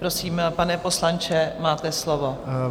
Prosím, pane poslanče, máte slovo.